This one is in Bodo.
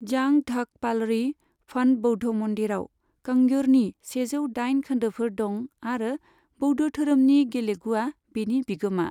जांग ढ'क पालरी फडं बौद्ध मन्दिरआव कांग्युरनि सेजौ दाइन खोन्दोफोर दं आरो बौद्ध धोरोमनि गेलुगआ बेनि बिगोमा।